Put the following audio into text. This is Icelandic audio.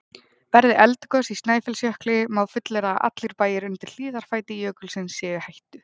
Verði eldgos í Snæfellsjökli má fullyrða að allir bæir undir hlíðarfæti jökulsins séu í hættu.